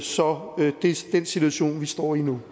så den situation vi står i nu